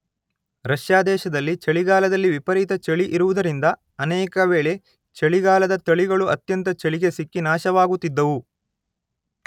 Russia ದೇಶದಲ್ಲಿ ಚಳಿಗಾಲದಲ್ಲಿ ವಿಪರೀತ ಚಳಿ ಇರುವುದರಿಂದ ಅನೇಕ ವೇಳೆ ಚಳಿಗಾಲದ ತಳಿಗಳು ಅತ್ಯಂತ ಚಳಿಗೆ ಸಿಕ್ಕಿ ನಾಶವಾಗುತ್ತಿದ್ದವು.